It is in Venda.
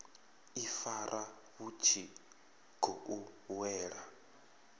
ifara vhu tshi khou wela